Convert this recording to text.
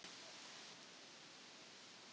Þú þarft ekki að hafa áhyggjur af þessu.